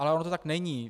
Ale ono to tak není.